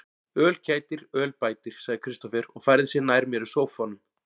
Öl kætir, öl bætir, sagði Kristófer og færði sig nær mér í sóffanum.